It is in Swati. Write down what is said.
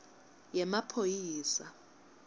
yemaphoyisa